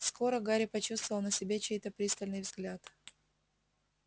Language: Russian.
скоро гарри почувствовал на себе чей-то пристальный взгляд